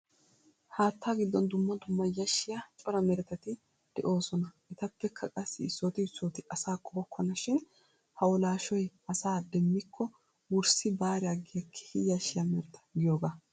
Haatta giddon dumma dumma yashshiya cora meretati de'oosona. Etappekka qassi issooti issooti asaa qohokkona shin hawulaashshoy asaa demmikko wurssi baari aggiya keehi yashshiya mereta giyogaa.